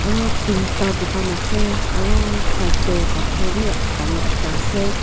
Road te ekta dukan ase aru side te pathor bhi dagur ekta ase.